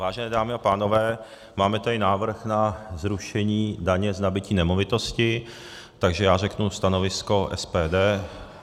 Vážené dámy a pánové, máme tady návrh na zrušení daně z nabytí nemovitosti, takže já řeknu stanovisko SPD.